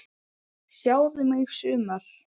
Sjáðu mig sumar!